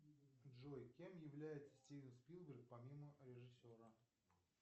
джой кем является стивен спилберг помимо режиссера